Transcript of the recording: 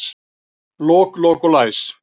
Lok, lok og læs